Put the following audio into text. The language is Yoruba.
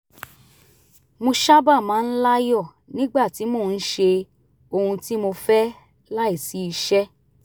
mo sábà máa ń láyọ̀ nígbà tí mo ń ṣe ohun tí mo fẹ́ láìsí iṣẹ́